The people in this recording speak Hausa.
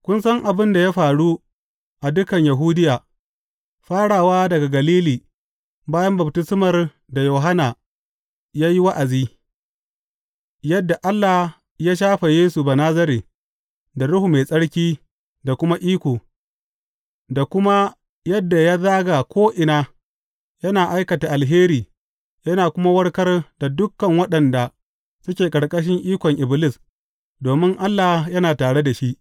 Kun san abin da ya faru a dukan Yahudiya, farawa daga Galili bayan baftismar da Yohanna ya yi wa’azi, yadda Allah ya shafe Yesu Banazare da Ruhu Mai Tsarki da kuma iko, da kuma yadda ya zaga ko’ina yana aikata alheri yana kuma warkar da dukan waɗanda suke ƙarƙashin ikon Iblis, domin Allah yana tare da shi.